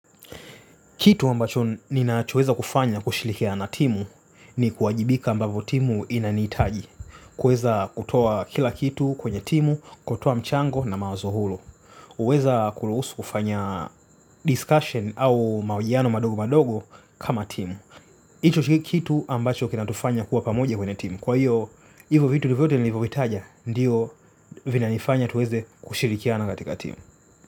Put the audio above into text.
Kitu ambacho nina chueza kufanya kushilikia na timu ni kuajibika ambavo timu inanitaji. Kueza kutoa kila kitu kwenye timu, kutoa mchango na mawazo hulu. Kuweza kuruhusu kufanya discussion au mahojiano madogo madogo kama timu. Hicho kitu ambacho kinatufanya kuwa pamoja kwenye timu. Kwa hiyo hivyo vitu nivyo vitaja, ndiyo vinanifanya tuweze kushilikia na katika timu.